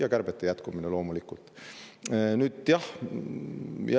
Ja kärpeid loomulikult jätkata.